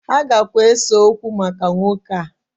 Ha gakwa ese okwo maka nwoke a